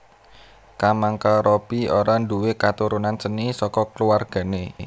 Kamangka Robby ora nduwé katurunan seni saka kluwargané